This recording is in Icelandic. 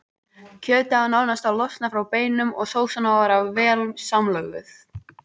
Kjötið á nánast að losna frá beinum og sósan að vera orðin vel samlöguð.